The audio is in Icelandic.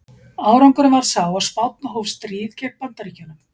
Árangurinn varð sá að Spánn hóf stríð gegn Bandaríkjunum.